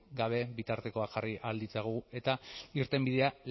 gabe bitartekoak jarri ahal ditzagun eta irtenbidea